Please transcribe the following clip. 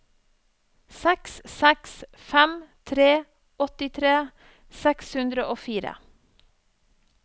seks seks fem tre åttitre seks hundre og fire